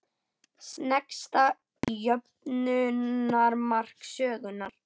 Sneggsta jöfnunarmark sögunnar?